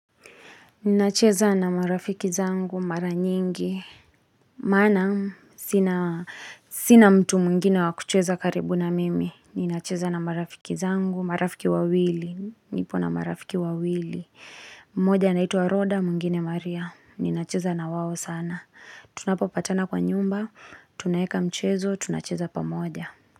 Ninacheza na marafiki zangu, mara nyingi, maana sina sinamtu mwigine wakucheza karibu na mimi. Ninacheza na marafiki zangu, marafiki wawili, nipo na marafiki wawili. Mmoja anaitwa rhoda, mwingine Maria. Ninacheza na wao sana. Tunapo patana kwa nyumba, tunaeka mchezo, tunacheza pamoja.